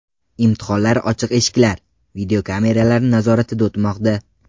Imtihonlar ochiq eshiklar, videokameralar nazoratida o‘tmoqda.